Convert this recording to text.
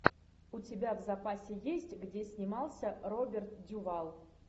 у тебя в запасе есть где снимался роберт дюваль